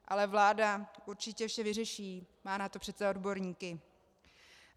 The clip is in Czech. Ale vláda určitě vše vyřeší, má na to přece odborníky.